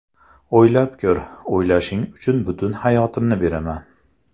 O‘ylab ko‘r, o‘ylashing uchun butun hayotimni beraman”.